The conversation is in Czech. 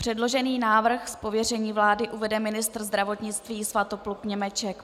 Předložený návrh z pověření vlády uvede ministr zdravotnictví Svatopluk Němeček.